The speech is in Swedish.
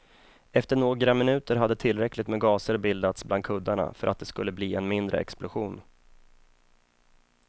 Efter några minuter hade tillräckligt med gaser bildats bland kuddarna för att det skulle bli en mindre explosion.